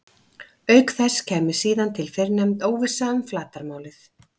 Auk þess kæmi síðan til fyrrnefnd óvissa um flatarmálið.